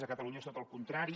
a catalunya és tot al contrari